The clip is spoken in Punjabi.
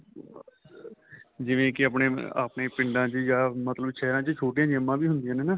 ਜਿਵੇਂ ਕੀ ਆਪਣੇਂ ਆਪਣੇਂ ਪਿੰਡਾਂ ਚ ਜਾਂ ਮਤਲਬ ਸਹਿਰਾਂ ਚ ਛੋਟੀਆਂ ਜਿੰਮਾਂ ਵੀ ਹੁੰਦੀਆਂ ਨੇ ਨਾ